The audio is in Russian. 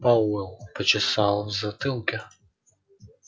пауэлл почесал в затылке